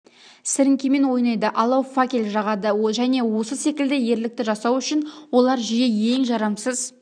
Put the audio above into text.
сіріңкемен ойнайды алау факел жағады және осы секілді ерлікті жасау үшін олар жиі ең жарамсыз